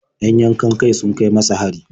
Yan yankan-kai sun kai masa hari.